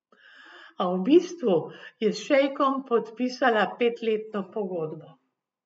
A v bistvu je s šejkom podpisala petletno pogodbo.